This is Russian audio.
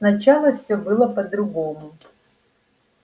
сначала всё было по-другому